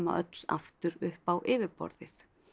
öll aftur upp á yfirborðið